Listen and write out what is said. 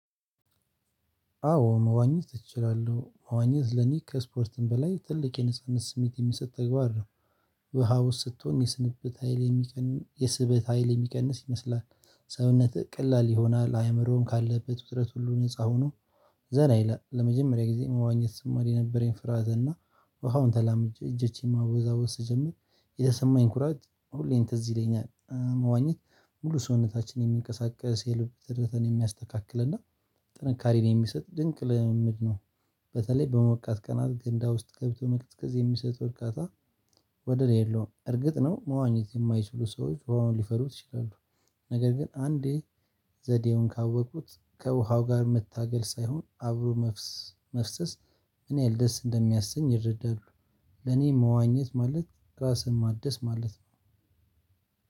አዎ መዋኘት እችላለሁ መዋኘት ለኔ ከስፖርትም በላይ ትልቅ የንጹህነት ስሜት የሚሰጥ ተግባር ነው። ውሃ ውስጥ ስትሆን የስበት ሀይል የሚቀንስ ይመስላል ሰውነትህ ቀላል ይሆናል አእምሮህም ካለህበት ውጥረት ሁሉ ነፃ ሆኖ ዘና ይላል ለመጀመሪያ ጊዜ መዋኘት ስማር የነበረኝ ፍርሃት እና ውሃውን ተላምጄ እጅቼን ማወዛወዝ ስጀምር የተሰማኝ ኩራት ሁሌም ትዝ ይለኛል መዋኘት ሙሉ ሰውነታችንን የሚንቀሳቀስ የልብ ትርታን የሚያስተካክል እና ጥንካሬን የሚሰጥ ድንቅ ልምምድ ነው በተለይ በሞቃት ቀናት ገንዳ ውስጥ ገብቶ መቅዝቀዝ የሚሰጠው እርካታ ወደር የለውም እርግጥ ነው መዋኘት የማይችሉ ሰዎች ውሃውን ሊፈሩ ይችላሉ ነገር ግን አንዴ ዘዴውን ካወቁት ከውሃው ጋር መታገል ሳይሆን አብሮ መፍሰስ ምን ያክል ደስ እንደሚያሰኝ ይረዳሉ ለኔ መዋኘት ማለት ራስን ማደስ ማለት ነው